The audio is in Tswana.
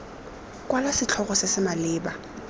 kwala setlhogo se se maleba